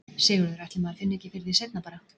Sigurður: Ætli maður finni ekki fyrir því seinna bara?